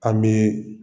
An bɛ